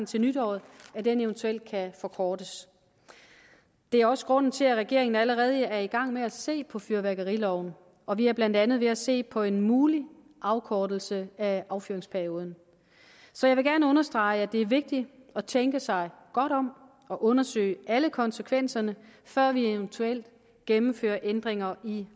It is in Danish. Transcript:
til nytåret eventuelt kan forkortes det er også grunden til at regeringen allerede er i gang med at se på fyrværkeriloven og vi er blandt andet ved at se på en mulig afkortelse af affyringsperioden så jeg vil gerne understrege at det er vigtigt at tænke sig godt om og undersøge alle konsekvenserne før vi eventuelt gennemfører ændringer i